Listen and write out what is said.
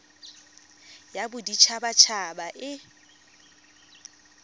ya bodit habat haba e